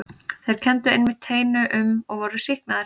Þeir kenndu einmitt teinu um og voru sýknaðir.